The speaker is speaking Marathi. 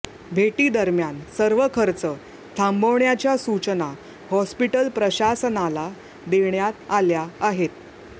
भेटीदरम्यान सर्व खर्च थांबवण्याच्या सूचना हॉस्पिटल प्रशासनाला देण्यात आल्या आहेत